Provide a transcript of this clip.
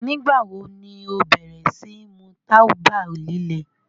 Nígba wo ni o bẹ̀rẹ̀ sí mú tàbà lílẹ̀?